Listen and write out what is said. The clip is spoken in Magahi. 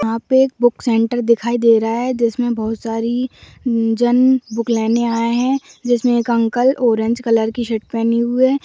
यहाँ पे एक बुक सेंटर दिखाई दे रहा है जिसमे बहुत सारे जन बुक लेने आये हैं जिसमे एक अंकल ऑरेंज कलर की शर्ट प पहने हुवे है ।